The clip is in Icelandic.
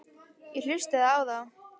Ég hlustaði á þá.